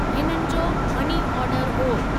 हिननि जो money order हुओ।